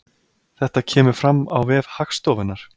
Þetta kemur fram á vef Hagstofunnar